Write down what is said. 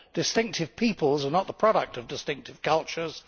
Distinctive peoples are not the product of distinctive cultures